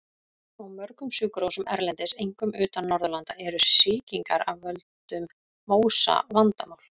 Á mörgum sjúkrahúsum erlendis, einkum utan Norðurlanda, eru sýkingar af völdum MÓSA vandamál.